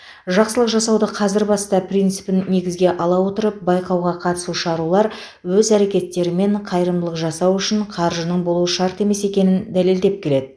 жақсылық жасауды қазір баста принципін негізге ала отырып байқауға қатысушы арулар өз әрекеттерімен қайырымдылық жасау үшін қаржының болуы шарт емес екенін дәлелдеп келеді